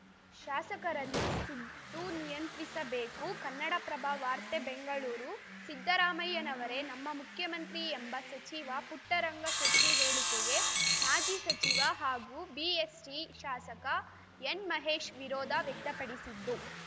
ಶಾಸಕರನ್ನು ಸಿದ್ದು ನಿಯಂತ್ರಿಸಬೇಕು ಕನ್ನಡಪ್ರಭ ವಾರ್ತೆ ಬೆಂಗಳೂರು ಸಿದ್ದರಾಮಯ್ಯನವರೇ ನಮ್ಮ ಮುಖ್ಯಮಂತ್ರಿ ಎಂಬ ಸಚಿವ ಪುಟ್ಟರಂಗ ಶೆಟ್ಟಿಹೇಳಿಕೆಗೆ ಮಾಜಿ ಸಚಿವ ಹಾಗೂ ಬಿಎಸ್‌ಟಿ ಶಾಸಕ ಎನ್‌ಮಹೇಶ್‌ ವಿರೋಧ ವ್ಯಕ್ತಪಡಿಸಿದ್ದು